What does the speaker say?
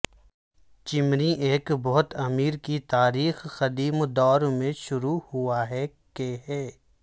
چمنی ایک بہت امیر کی تاریخ قدیم دور میں شروع ہوا ہے کہ ہے